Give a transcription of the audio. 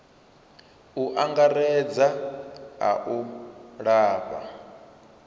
u angaredza a u lafha